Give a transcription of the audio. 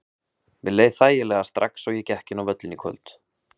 Mér leið þægilega strax og ég gekk inn á völlinn í kvöld.